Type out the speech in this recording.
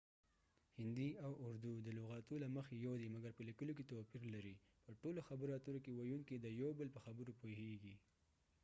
هندي او اردو د لغاتو له مخی یو دي مګر په لیکلو کې توپیر لري :په ټولو خبرو اترو کې ويونکې د یو بل په خبرو پوهیږی